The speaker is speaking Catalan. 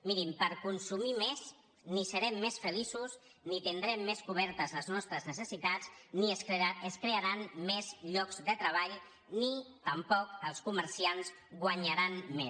mirin per consumir més ni serem més feliços ni tindrem més cobertes les nostres necessitats ni es crearan més llocs de treball ni tampoc els comerciants guanyaran més